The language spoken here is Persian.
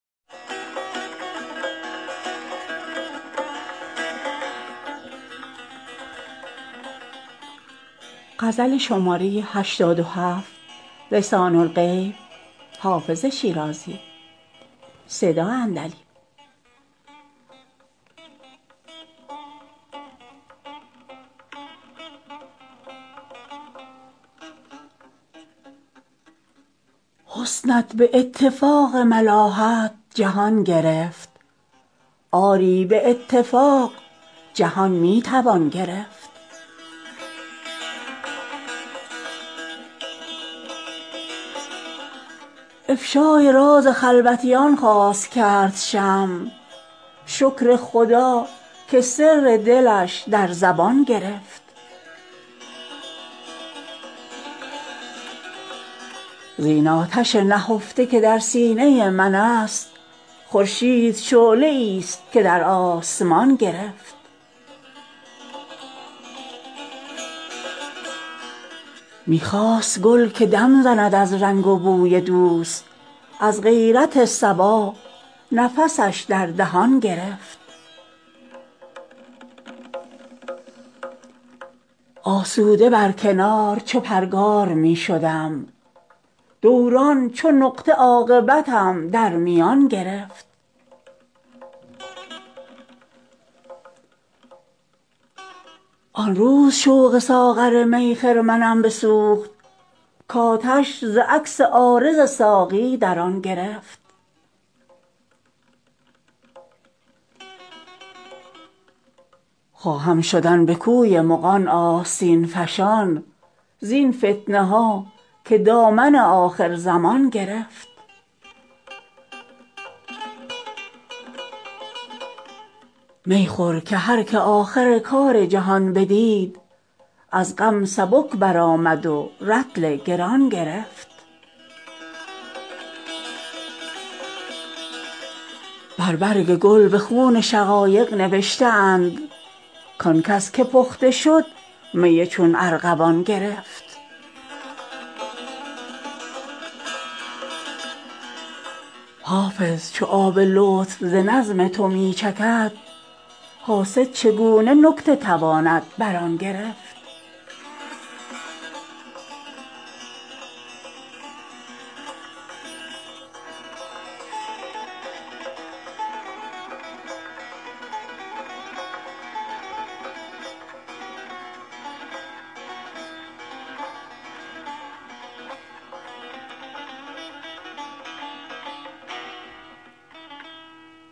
حسنت به اتفاق ملاحت جهان گرفت آری به اتفاق جهان می توان گرفت افشای راز خلوتیان خواست کرد شمع شکر خدا که سر دلش در زبان گرفت زین آتش نهفته که در سینه من است خورشید شعله ای ست که در آسمان گرفت می خواست گل که دم زند از رنگ و بوی دوست از غیرت صبا نفسش در دهان گرفت آسوده بر کنار چو پرگار می شدم دوران چو نقطه عاقبتم در میان گرفت آن روز شوق ساغر می خرمنم بسوخت کآتش ز عکس عارض ساقی در آن گرفت خواهم شدن به کوی مغان آستین فشان زین فتنه ها که دامن آخرزمان گرفت می خور که هر که آخر کار جهان بدید از غم سبک برآمد و رطل گران گرفت بر برگ گل به خون شقایق نوشته اند کآن کس که پخته شد می چون ارغوان گرفت حافظ چو آب لطف ز نظم تو می چکد حاسد چگونه نکته تواند بر آن گرفت